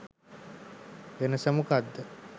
වෙනස මොකද්ද?